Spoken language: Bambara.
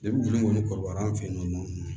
kɔni kɔrɔbara an fɛ yen nɔ